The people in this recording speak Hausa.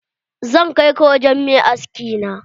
Zan kai ka wurin mai aski na.